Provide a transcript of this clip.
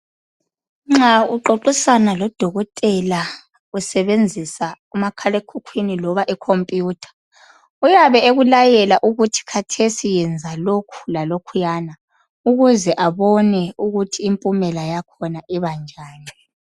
Nxa uxoxisana lodokotela usebenzisa umakhalekhukhwini loba ikhompiyutha uyabe ekulayela ukuthi kathesi yenza lokhu lalokhuya ukuze abone ukuthi impumela yakhona ibanjani.